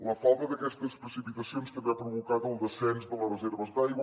la falta d’aquestes precipitacions també ha provocat el descens de les reserves d’aigua